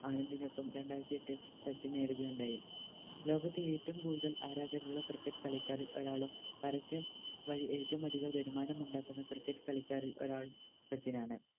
ആനന്ദിനൊപ്പം രണ്ടാരത്തിയെട്ടിൽ സച്ചിൻ നേടുകയുണ്ടായി ലോകത്തിൽ ഏറ്റോം കൂടുതൽ ആരാധകരുള്ള Cricket കളിക്കാരിൽ ഒരാളും പരസ്യം വഴി ഏറ്റോം അതികം വരുമാനമുണ്ടാക്കുന്ന Cricket കളിക്കാരിൽ ഒരാൾ സച്ചിൻ ആണ്